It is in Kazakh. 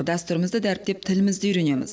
дәстүрімізді дәріптеп тілімізді үйренеміз